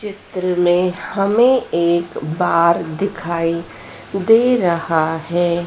चित्र में हमें एक बार दिखाई दे रहा है।